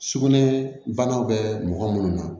Sugunɛ bana bɛ mɔgɔ minnu na